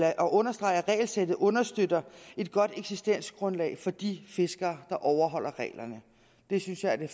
at understrege at regelsættet understøtter et godt eksistensgrundlag for de fiskere der overholder reglerne det synes jeg er det